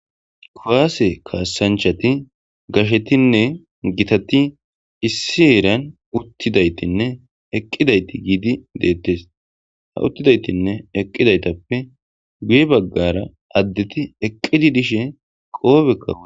Kowaase kaassanchati gashetinne gitati issi heeran uttidaytinne eqqidayti giidi deettes. Ha uttidaytinne eqqidaytappe guye baggara addeti eqqidi dishe qoobeka wo.